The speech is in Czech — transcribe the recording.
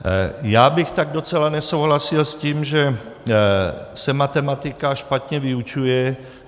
Já bych tak docela nesouhlasil s tím, že se matematika špatně vyučuje.